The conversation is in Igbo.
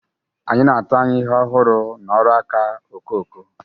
Anyị na-atụ anya ihe ọhụrụ n'ọrụ nka okoko.